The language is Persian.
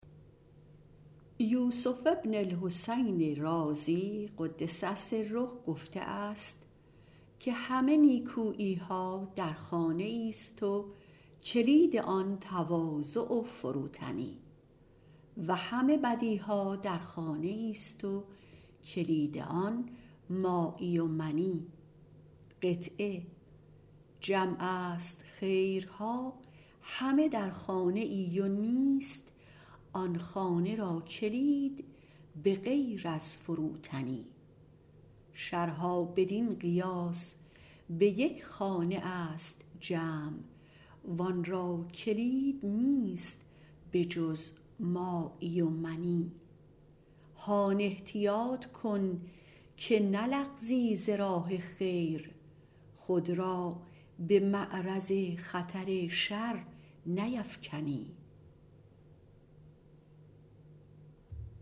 یوسف بن الحسین - قدس الله سره - گفته است همه نیکوییها در خانه ایست و کلید آن تواضع و فروتنی و همه بدیها در خانه ایست و کلید آن مایی و منی جمع است خیرها همه در خانه و نیست آن خانه را کلید بغیر از فروتنی شرها بدین قیاس به یک خانه است جمع وان را کلید نیست بجز مایی و منی هان احتیاط کن که نلغزی ز راه خیر خود را به معرض خطر شر نیفکنی